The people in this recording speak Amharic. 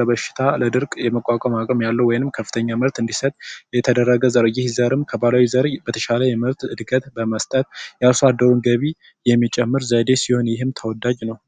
ለበሽታ ለድርቅ የመቋቋም አቅም ያለው ወይንም ከፍተኛ ምርት እንዲሰጥ የተደረገ ዝርያ ከባህላዊ ዘርም የተሻለ እድገት ምርት በመስጠት የአርሶ አደሩን ገቢ የሚጨምር ዘዴ ሲሆን ይህም ተወዳጅ ነው።